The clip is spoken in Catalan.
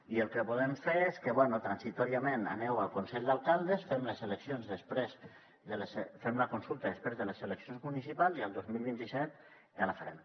i el que podem fer és que bé transitòriament aneu al consell d’alcaldes fem la consulta després de les eleccions municipals i el dos mil vint set ja la farem